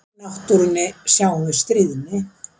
Í náttúrunni sjáum við stríðni.